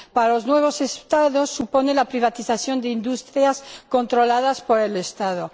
Para los nuevos Estados, supone la privatización de industrias controladas por el Estado.